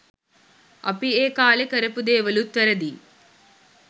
අපි ඒ කාලේ කරපු දේවලුත් වැරදියි